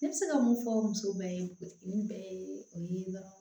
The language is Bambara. Ne bɛ se ka mun fɔ muso bɛɛ ye nin bɛɛ ye o ye dɔrɔn